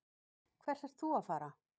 Hvert ert þú að fara?